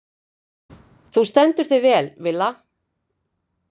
Þú stendur þig vel, Villa!